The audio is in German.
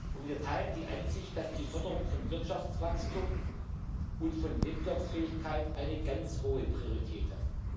Und wir teilen die Ansicht, dass die Förderung von Wirtschaftswachstum und von Wettbewerbsfähigkeit eine ganz hohe Priorität hat.